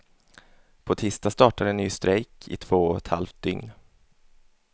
På tisdag startar en ny strejk i två och ett halvt dygn.